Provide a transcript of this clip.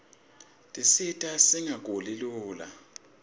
tisita singaguli lula